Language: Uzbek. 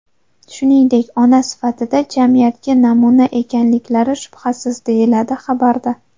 Shuningdek, ona sifatida jamiyatga namuna ekanliklari shubhasiz, deyiladi xabarda.